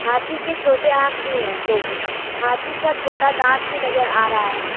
हाथी के छोटे आंख भी है दो गो हाथी का छोटा दांत भी नजर आ रहा है।